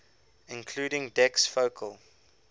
including dec's focal